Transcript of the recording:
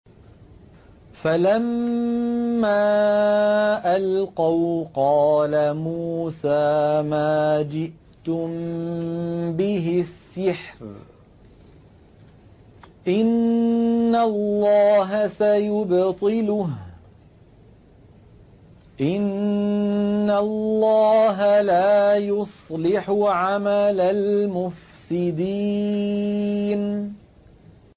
فَلَمَّا أَلْقَوْا قَالَ مُوسَىٰ مَا جِئْتُم بِهِ السِّحْرُ ۖ إِنَّ اللَّهَ سَيُبْطِلُهُ ۖ إِنَّ اللَّهَ لَا يُصْلِحُ عَمَلَ الْمُفْسِدِينَ